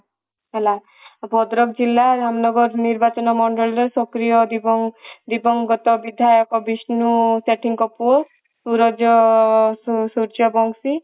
ହେଲା ଭଦ୍ରକ ଜିଲ୍ଲା ଧାମନଗର ନିର୍ବାଚନ ମଣ୍ଡଳୀ ର ସକ୍ରିୟ ଦିବଙ୍ଗଗତ ବିଧାୟକ ବିଷ୍ଣୁ ସେଠୀ ଙ୍କ ପୁଅ ସୁରଜ ସୂର୍ଯ୍ୟବଂଶୀ